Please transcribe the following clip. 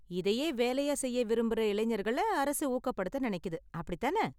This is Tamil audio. இதையே வேலையா செய்ய விரும்புற இளைஞர்களை அரசு ஊக்கப்படுத்த நினைக்குது, அப்படி தான?